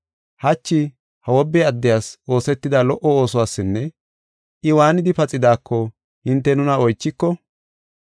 hachi ha wobbe addiyas oosetida lo77o oosuwasinne I waanidi paxidaako hinte nuna oychiko,